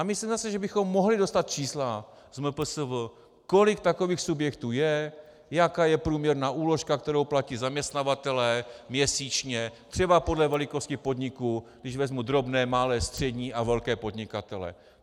A myslím zase, že bychom mohli dostat čísla z MPSV, kolik takových subjektů je, jaká je průměrná úložka, kterou platí zaměstnavatelé měsíčně, třeba podle velikosti podniku, když vezmu drobné, malé, střední a velké podnikatele.